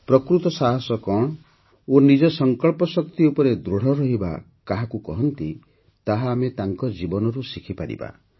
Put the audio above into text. ପ୍ରକୃତ ସାହସ କଣ ଓ ନିଜ ସଙ୍କଳ୍ପଶକ୍ତି ଉପରେ ଦୃଢ଼ ରହିବା କାହାକୁ କହନ୍ତି ତାହା ଆମେ ତାଙ୍କ ଜୀବନରୁ ଶିଖିପାରିବା